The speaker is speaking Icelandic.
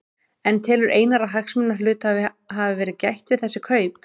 En telur Einar að hagsmuna hluthafa hafi verið gætt við þessi kaup?